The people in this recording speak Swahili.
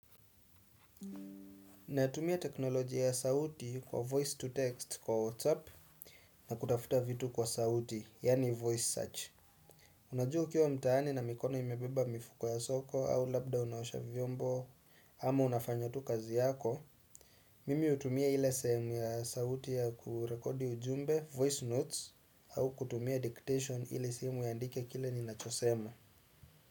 Natumia teknoloji ya sauti kwa 'voice to text' kwa WhatsApp na kutafuta vitu kwa sauti, yaani 'voice search'. Unajua ukiwa mtaani na mikono imebeba mifuko ya soko au labda unaosha vyombo ama unafanya tu kazi yako. Mimi hutumia ila sehemu ya sauti ya kurekodi ujumbe, 'voice notes' au kutumia 'dictation' ili simu ianndike kile ninachosema.